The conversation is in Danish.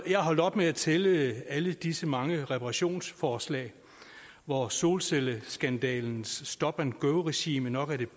holdt op med at tælle alle disse mange reparationsforslag hvor solcelleskandalens stop and go regime nok